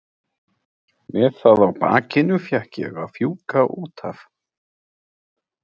Með það á bakinu fékk ég að fjúka út af.